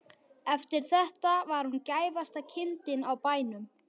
Eftir þetta var hún gæfasta kindin á bænum.